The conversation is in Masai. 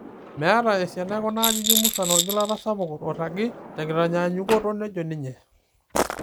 'Meeta esiana ekuna ajijik musan orgilata sapuk oiragi, tenkitanyanyukoto,'' nejo ninye.